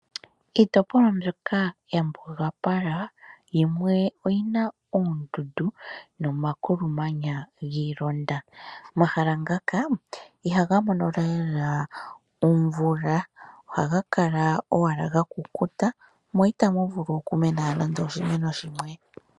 Kiitopolwa mbyoka ya mbugapala yimwe oyina oondudu nomakulu manya giilonda. Omahala ngaka ihaga mono lela omvula, ohaga kala owala ga kukuta mo itamu vulu oku mena nande oshimuna shimwe.